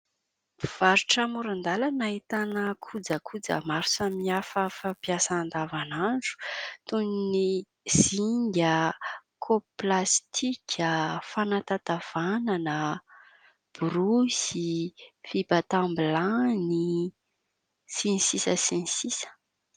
Mpivarotra amoron-dalana, ahitana kojakoja maro samihafa fampiasa andavanandro, toy ny : zinga, kaopy plastika, fanatatavanana, borosy, fibatam-bilany, sy ny sisa sy ny sisa.